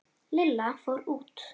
Lilla fór út.